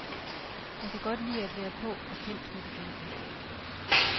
Han kan godt lide at være på og kendt med de kendte.